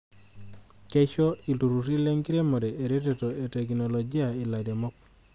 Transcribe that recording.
Keisho ilturruri lenkiremore eretoto e teknolojia ilairemok.